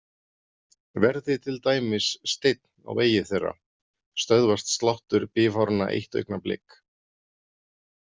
Verði til dæmis steinn á vegi þeirra stöðvast sláttur bifháranna eitt augnablik.